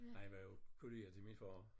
Han var jo kollega til min far